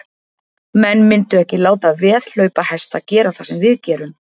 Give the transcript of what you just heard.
Menn myndu ekki láta veðhlaupahesta gera það sem við gerum.